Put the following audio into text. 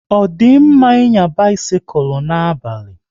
Ọ di mma ịnya bisikul n'abalị?